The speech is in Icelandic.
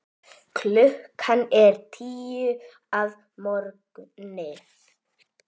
Klukkan er tíu að morgni.